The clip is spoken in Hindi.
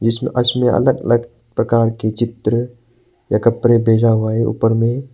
जिसमे अलग अलग प्रकार की चित्र या कपड़े भेजा हुआ हैं ऊपर में।